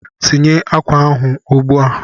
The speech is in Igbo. Tinye akwa ahụ ugbu a!